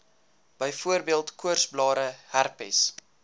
byvoorbeeld koorsblare herpes